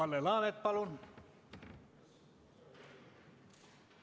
Kalle Laanet, palun!